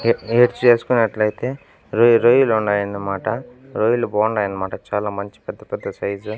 ఈడ -ఈడ చేసుకున్నట్లయితే రోయ్ రొయ్యలు ఉన్నాయన్నమాట రొయ్యలు బాగున్నాయి అన్నమాట చాలా మంచి పెద్ద-పెద్ద సైజు లు.